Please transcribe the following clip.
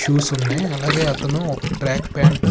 Shoes ఉన్నాయి అలాగే అతను ఒక ట్రాక్ ప్యాంట్ .